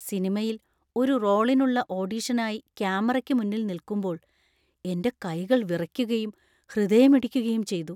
സിനിമയിൽ ഒരു റോളിനുള്ള ഓഡിഷനായി ക്യാമറയ്ക്ക് മുന്നിൽ നിൽക്കുമ്പോൾ എന്‍റെ കൈകൾ വിറയ്ക്കുകയും ഹൃദയമിടിക്കുകയും ചെയ്തു.